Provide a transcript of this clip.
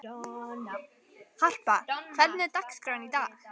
Harpa, hvernig er dagskráin í dag?